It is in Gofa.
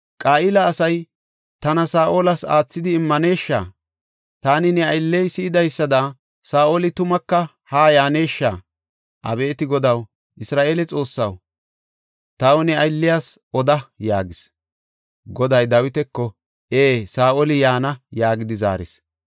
Qa7ila asay tana Saa7olas aathidi immanesha? Taani ne aylley si7idaysada Saa7oli tumaka haa yaaneshsha? Abeeti Godaw, Isra7eele Xoossaw, taw ne aylliyas oda” yaagis. Goday Dawitako, “Ee; Saa7oli yaana” yaagidi zaaris.